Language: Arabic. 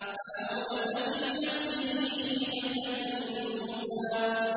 فَأَوْجَسَ فِي نَفْسِهِ خِيفَةً مُّوسَىٰ